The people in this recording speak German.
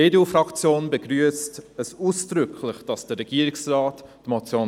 Die EDU-Fraktion begrüsst es ausdrücklich, dass der Regierungsrat die